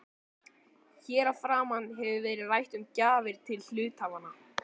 Hér að framan hefur verið rætt um gjafir til hluthafanna.